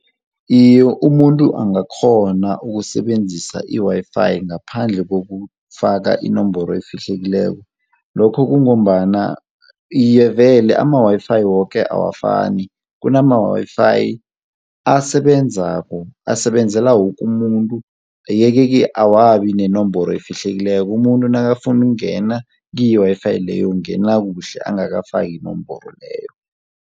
Iye umuntu angakghona ukusebenzisa i-WiFi ngaphandle kokufaka inomboro efihlekileko, lokhu kungombana iye vele ama-WiFi woke awafani, kunama-WiFi asebenzako asebenzela woke umuntu ye-ke ke awabi nenomboro efihlekileko umuntu nakafuna ukungena ku-WiFi leyo ungena kuhle angafaki inomboro leyo.